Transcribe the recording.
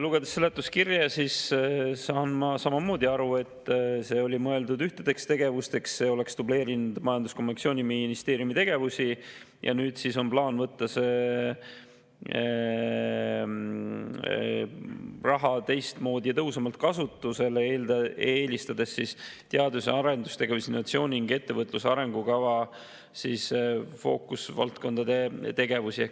Lugedes seletuskirja, saan ma samamoodi aru, et see raha oli mõeldud ühtedeks tegevusteks, aga see oleks dubleerinud Majandus- ja Kommunikatsiooniministeeriumi tegevusi ja nüüd on plaan võtta see raha teistmoodi ja tõhusamalt kasutusele, eelistades teadus- ja arendustegevust, innovatsiooni ning ettevõtluse arengukava fookusvaldkondade tegevusi.